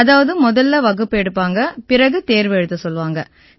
அதாவது முதல்ல வகுப்பு எடுப்பாங்க பிறகு தேர்வு எழுதச் சொல்லுவாங்க